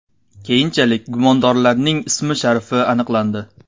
Keyinchalik gumondorlarning ismi-sharifi aniqlandi.